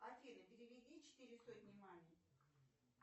афина переведи четыре сотни маме